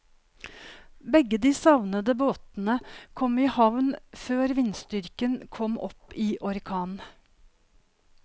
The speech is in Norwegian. Begge de savnede båtene kom i havn før vindstyrken kom opp i orkan.